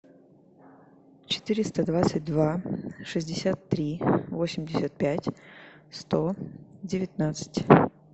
четыреста двадцать два шестьдесят три восемьдесят пять сто девятнадцать